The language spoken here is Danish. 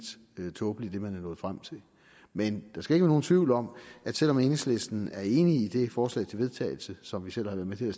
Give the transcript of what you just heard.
tåbeligt men der skal ikke være nogen tvivl om at selv om enhedslisten er enig i det forslag til vedtagelse som vi selv har været med til at